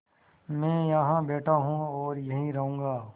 मैं यहाँ बैठा हूँ और यहीं रहूँगा